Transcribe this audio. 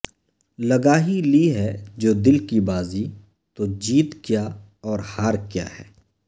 لگا ہی لی ہے جو دل کی بازی تو جیت کیا اور ہار کیا ہے